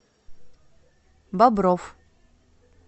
бобров